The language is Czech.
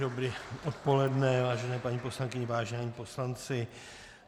Dobré odpoledne, vážené paní poslankyně, vážení poslanci.